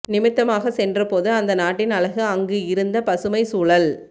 நிமித்தமாக சென்ற போது அந்த நாட்டின் அழகு அங்கு இருந்த பசுமை சூழல்